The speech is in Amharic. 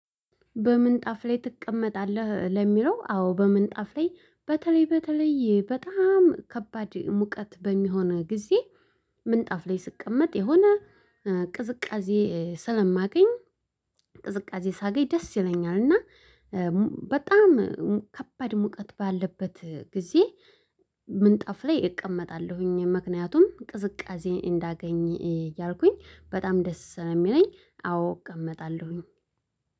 በምንጣፍ ላይ ትቀመጣለህ ለሚለው አዎ በምንጣፍ ላይ በተለይ በተለይ በጣም ከባድ ሙቀት በሚሆነ ጊዜ ምንጣፍ ላይ ስቀመጥ የሆነ ቅዝቃዜ ስለማገኝ ቅዝቃዜ ሳገኝ ደስ ይለኛል እና በጣም ከባድ ሙቀት ባለበት ጊዜ ምንጣፍ ላይ እቀመጣለሁኝ ምክንያቱም ቅዝቃዜ እንዳገኝ እያልኩኝ በጣም ደስ ስለየሚለኝ አዎ እቀመጣለሁኝ።